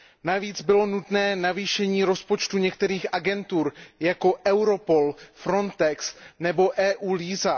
Navíc bylo nutné navýšení rozpočtů některých agentur, jako jsou Europol, Frontex nebo eu LISA.